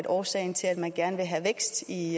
årsagen til at man gerne vil have vækst i